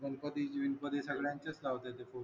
गणपती बिनपतीत सगळ्यांचेच लावते ते